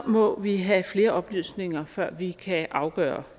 må vi have flere oplysninger før vi kan afgøre